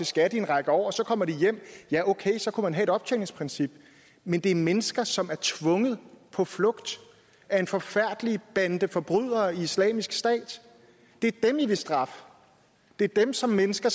skat i en række år så kommer de hjem og ja okay så kunne man have et optjeningsprincip men det er mennesker som er tvunget på flugt af en forfærdelig bande forbrydere i islamisk stat det er dem i vil straffe det er dem som mennesker